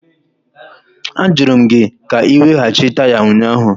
Ajụrụ m gị ka ị weghachi taya ụnyaahụ!